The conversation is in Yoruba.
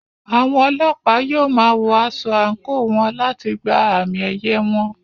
Àwọn Ọlọ́pàá yóò máa wọ aṣọ àǹkóò wọn láti gba àmì-ẹ̀yẹ wọn.